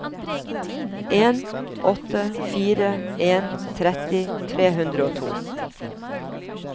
en åtte fire en tretti tre hundre og to